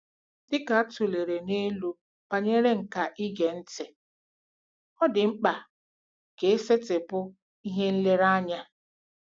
Dị ka a tụlere n'elu banyere nkà ige ntị, ọ dị mkpa ka isetịpụ ihe nlereanya.